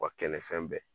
Wa kɛnɛfɛn bɛɛ